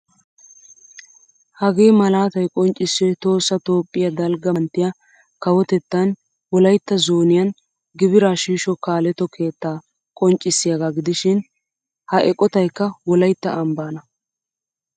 Hagee malaatay qonccissiyoy tohossa toophphiyaa dalgga manttiyaa kawotettan wolaytta zzoniyan gibira shiisho kaaletto keettaa qonccissiyaaga gidishin ha eqqottaykka wolaytta ambbaana.